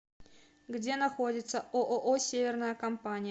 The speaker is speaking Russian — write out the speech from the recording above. где находится ооо северная компания